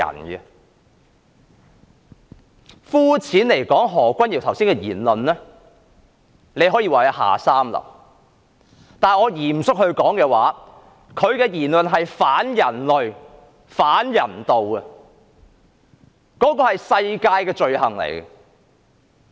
說得膚淺些，何君堯議員剛才的言論可說是下三流，若我用嚴肅的說法，則他的言論是反人類和反人道的，那是普世罪行。